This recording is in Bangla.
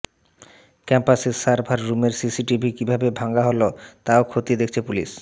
ক্যাম্পাসের সার্ভার রুমের সিসিটিভি কীভাবে ভাঙা হল তাও খতিয়ে দেখছে পুলিশ